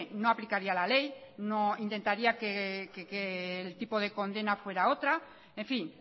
no aplicaría la ley no intentaría que el tipo de condena fuera otra en fin